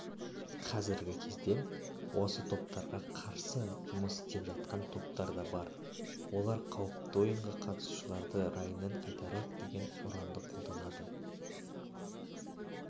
қазіргі кезде осы топтарға қарсы жұмыс істеп жатқан топтар да бар олар қауіпті ойынға қатысушыларды райынан қайтарайық деген ұранды қолданады